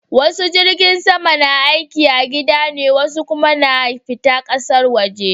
Wasu jirgin sama na aiki a gida ne wasu kuma na fita ƙasar waje